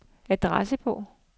adressebog